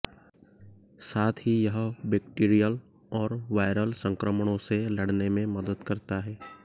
साथ ही यह बैक्टीरियल और वायरल संक्रमणों से लड़ने में मदद करता है